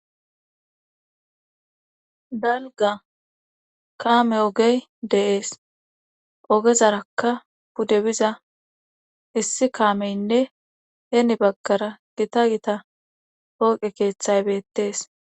dalga kaame ogey de7ees ogezarakka pudebiza issi kaameynne heeni bagkara gita gita pooqe keeththaybeettees